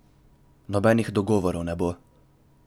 Nobenih dogovorov ne bo.